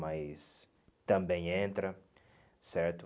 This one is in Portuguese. Mas também entra, certo?